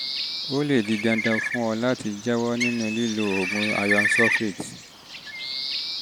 ó lè di dandan fún ọ láti ọ láti jáwọ́ nínú lílo oògùn iron sulfate